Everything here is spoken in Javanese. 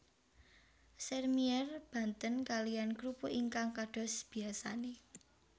Sèrmièr benten kaliyan krupuk ingkang kados biyasane